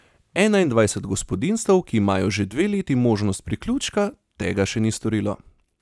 Enaindvajset gospodinjstev, ki imajo že dve leti možnost priključka, tega še ni storilo.